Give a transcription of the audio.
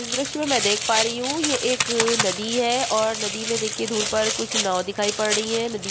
इस दृश्य में मैं देख पा रही हूँ ये एक नदी है और नदी में देखिये कुछ दूर पर कुछ नाओ दिखाई पड़ रही हैं नदी --